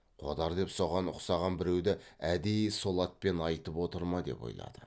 қодар деп соған ұқсаған біреуді әдейі сол атпен айтып отыр ма деп ойлады